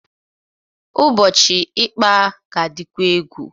Ụbọchị ịkpaa ga-adikwa egwu.